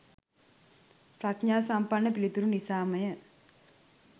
ප්‍රඥා සම්පන්න පිළිතුරු නිසා ම ය.